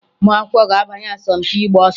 Ụmụakwụkwọ ga-abanye asọmpị ịgba ọsọ